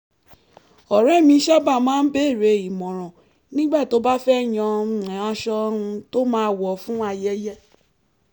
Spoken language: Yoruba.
ọ̀rẹ́ mi sábà máa ń béèrè ìmọ̀ràn nígbà tó bá fẹ́ yan um aṣọ um tó máa wọ̀ fún ayẹyẹ